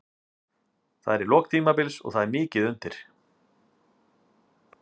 Þetta er í lok tímabils og það er mikið undir.